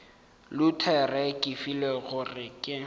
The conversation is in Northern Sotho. luthere ke filwe gore ke